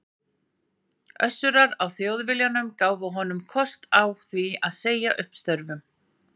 Össurar á Þjóðviljanum gáfu þeir honum kost á því að segja upp störfum.